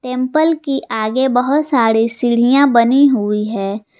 Temple की आगे बहोत सारे सीढ़ियां बनी हुई है।